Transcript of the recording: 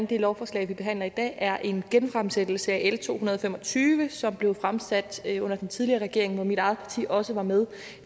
det lovforslag vi behandler i dag er en genfremsættelse af l to hundrede og fem og tyve som blev fremsat under den tidligere regering og hvor mit eget parti i også var med